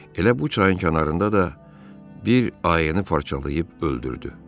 Elə bu çayın kənarında da bir ayını parçalayıb öldürdü.